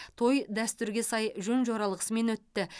той дәстүрге сай жөн жоралғысымен өтті